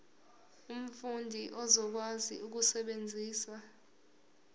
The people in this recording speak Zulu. umfundi uzokwazi ukusebenzisa